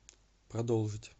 продолжить